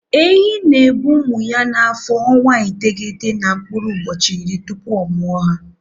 Ehi na-ebu ụmụ ya n'afọ ọnwa iteghete na mkpụrụ ụbọchị iri tupu ọ mụa ha.